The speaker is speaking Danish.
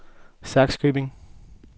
Sakskøbing